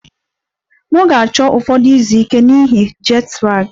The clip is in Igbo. M ga-achọ ụfọdụ izu ike n'ihi jet lag